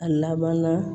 A laban na